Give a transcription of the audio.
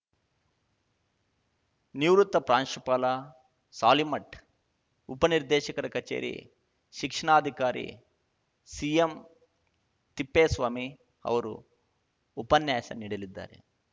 ನಿವೃತ್ತ ಪ್ರಾಂಶುಪಾಲ ಸಾಲಿಮಠ್‌ ಉಪನಿರ್ದೇಶಕರ ಕಚೇರಿ ಶಿಕ್ಷಣಾಧಿಕಾರಿ ಸಿಎಂತಿಪ್ಪೇಸ್ವಾಮಿ ಅವರು ಉಪನ್ಯಾಸ ನೀಡಲಿದ್ದಾರೆ